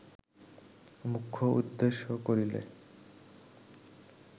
মুখ্য উদ্দেশ্য করিলে